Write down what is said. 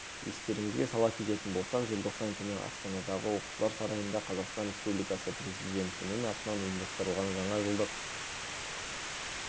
естеріңізге сала кететін болсақ желтоқсан күні астанадағы оқушылар сарайында қазақстан республикасы президентінің атынан ұйымдастырылған жаңа жылдық